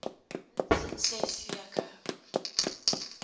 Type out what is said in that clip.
minstens ses weke